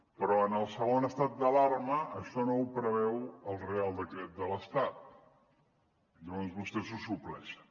però en el segon estat d’alarma això no ho preveu el reial decret de l’estat llavors vostès ho supleixen